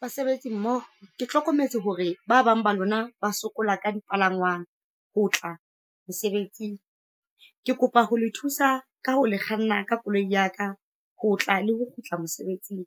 Basebetsi mmoho, ke hlokometse hore ba bang ba lona ba sokola ka dipalangwang ho tla mosebetsing. Ke kopa ho le thusa ka ho le kganna ka koloi ya ka ho tla le ho kgutla mosebetsing.